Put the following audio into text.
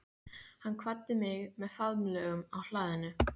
Hann kvaddi mig með faðmlögum á hlaðinu.